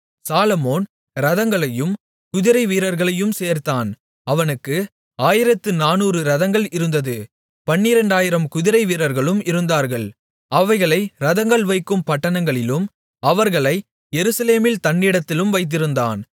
சாலொமோன் இரதங்களையும் குதிரைவீரர்களையும் சேர்த்தான் அவனுக்கு 1400 இரதங்கள் இருந்தது 12000 குதிரைவீரர்களும் இருந்தார்கள் அவைகளை இரதங்கள் வைக்கும் பட்டணங்களிலும் அவர்களை எருசலேமில் தன்னிடத்திலும் வைத்திருந்தான்